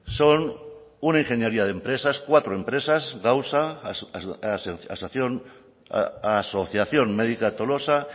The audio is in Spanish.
son una ingeniería de empresas cuatro empresas asociación médica tolosa